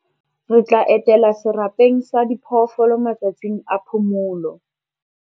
Re tla etela serapeng sa diphoofolo matsatsing a phomolo.